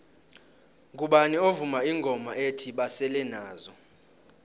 ngubani ovuma ingoma ethi basele nazo